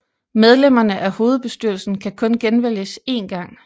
Medlemmerne af hovedbestyrelsen kan kun genvælges én gang